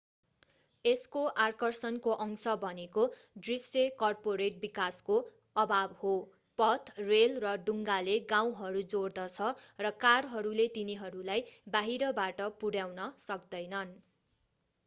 यसको आकर्षणको अंश भनेको दृश्य कर्पोरेट विकासको अभाव हो पथ रेल र डुङ्गाले गाउँहरू जोड्दछ र कारहरूले तिनीहरूलाई बाहिरबाट पुर्याउन सक्दैनन्